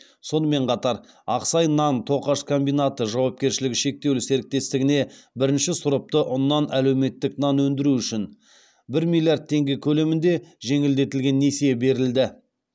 сонымен қатар ақсай нан тоқаш комбинаты жауапкершілігі шектеулі серіктестігіне бірінші сұрыпты ұннан әлеуметтік нан өндіру үшін бір миллиард теңге көлемінде жеңілдетілген несие берілді